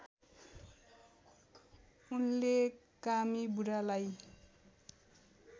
उनले कामी बुढालाई